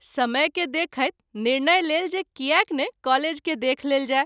समय के देखैत निर्णय लेल जे कियाक नहि कॉलेज के देख लेल जाय।